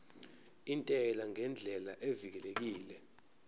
intela ngendlela evikelekile